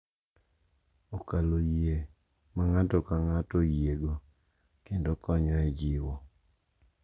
Okalo yie ma ng’ato ka ng’ato oyiego, kendo konyo e jiwo